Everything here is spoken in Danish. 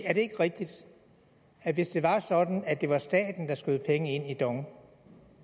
er det ikke rigtigt at hvis det var sådan at det var staten der skød penge ind i dong